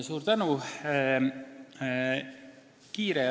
Suur tänu!